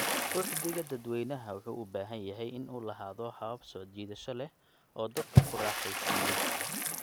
Uhdhigga dadweynaha wuxuu u baahan yahay in uu lahaado habab soo jiidasho leh oo dadka ku raaxaysiiyo.